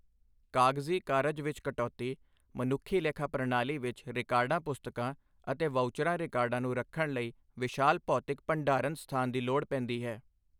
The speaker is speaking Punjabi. ਕਾਗਜ਼ੀ ਕਾਰਜ ਵਿੱਚ ਕਟੌਤੀ ਮਨੁੱਖੀ ਲੇਖਾ ਪ੍ਰਣਾਲੀ ਵਿੱਚ ਰਿਕਾਰਡਾਂ ਪੁਸਤਕਾਂ ਅਤੇ ਵਾਊਚਰਾਂ ਰਿਕਾਰਡਾਂ ਨੂੰ ਰੱਖਣ ਲਈ ਵਿਸ਼ਾਲ ਭੌਤਿਕ ਭੰਡਾਰਨ ਸਥਾਨ ਦੀ ਲੋੜ ਪੈਂਦੀ ਹੈ।